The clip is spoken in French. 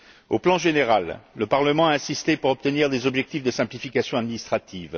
Au plan général, le Parlement a insisté pour obtenir des objectifs de simplification administrative.